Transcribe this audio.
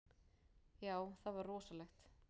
Já, það var rosalegt.